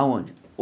Aonde?